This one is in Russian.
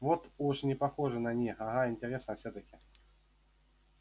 вот уж не похоже на них ага интересно всё-таки